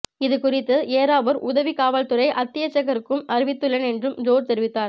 இது குறித்து ஏறாவூர் உதவி காவல்துறை அத்தியட்சகருக்கும் அறிவித்துள்ளேன் என்றும் ஜோர்ஜ் தெரிவித்தார்